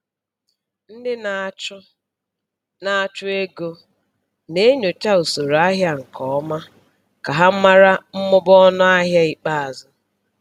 Ndị na-achụ na-achụ ego na-enyocha usoro ahịa nke ọma ka ha mara mmụba ọnụahịa ikpeazụ.